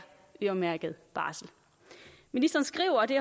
øremærket barsel ministeren skriver og det